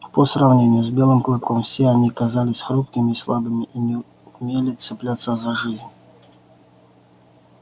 по сравнению с белым клыком все они казались хрупкими и слабыми и не умели цепляться за жизнь